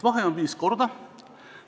Vahe on viis korda.